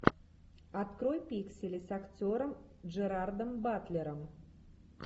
открой пиксели с актером джерардом батлером